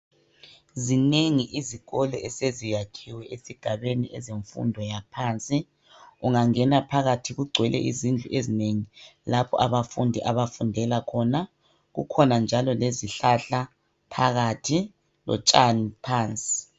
Zinengi izikolo eseziyakhiwe esigabeni ezemfundo yaphansi ungangena phakathi kugcwele izindlu ezinengi lapho abafundi abafundela khona kukhona njalo lezihlahla phakathi lotshani pansi.